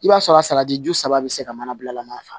I b'a sɔrɔ a salati ju saba be se ka manabilama san